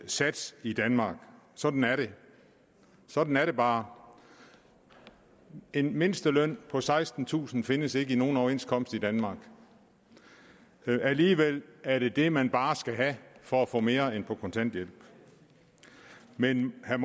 sats i danmark sådan er det sådan er det bare en mindsteløn på sekstentusind kroner findes ikke i nogen overenskomst i danmark alligevel er det det man bare skal have for at få mere end kontanthjælp men jeg